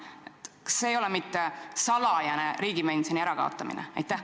Kas see ei ole mitte salajane riigipensioni ärakaotamine?